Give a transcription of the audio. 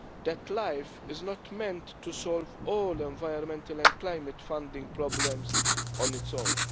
that LIFE is not meant to solve all environmental and climate funding problems on its own.